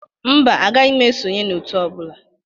Mba, agaghị m esonye n'Òtù ọ bụla.